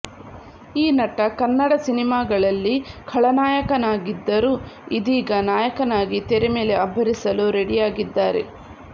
ಈ ನಟ ಕನ್ನಡ ಸಿನಿಮಾಗಳಲ್ಲಿ ಖಳನಾಯಕನಾಗಿದ್ದರೂ ಇದೀಗ ನಾಯಕನಾಗಿ ತೆರೆ ಮೇಲೆ ಅಬ್ಬರಿಸಲು ರೆಡಿಯಾಗಿದ್ದಾರೆ